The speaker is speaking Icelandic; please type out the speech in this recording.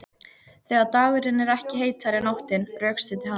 Þegar dagurinn er ekki heitari en nóttin, rökstuddi hann